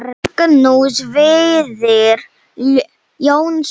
Magnús Víðir Jónsson